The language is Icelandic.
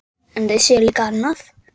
Þaðan hefur ekki komið króna.